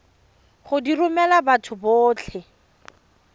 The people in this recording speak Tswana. go di romela batho botlhe